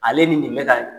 Ale ni nin bɛ ka